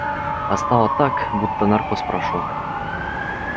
а стало так будто наркоз прошёл